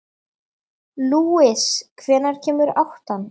Lúis, hvenær kemur áttan?